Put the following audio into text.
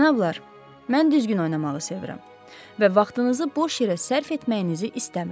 Cənablar, mən düzgün oynamağı sevirəm və vaxtınızı boş yerə sərf etməyinizi istəmirəm.